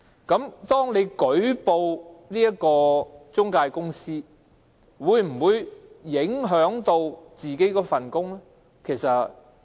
如果他們舉報中介公司，會否影響自己的工作呢？